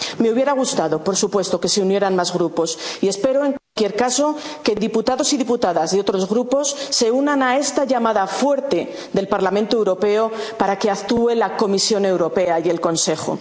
Parlamento. Me hubiera gustado, por supuesto, que se unieran más Grupos y espero, en cualquier caso, que diputados y diputadas y otros Grupos se unan a esta llamada fuerte del Parlamento Europeo para que actúen la Comisión Europea y